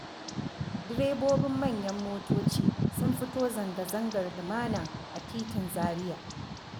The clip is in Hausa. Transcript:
Direbobin manyan motoci sun fito zanga-zangar lumana a titin Zaria.